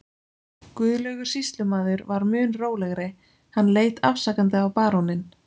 Guðlaugur sýslumaður var mun rólegri, hann leit afsakandi á baróninn.